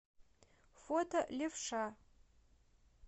фото левша